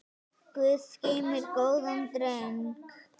Guð geymir góðan dreng.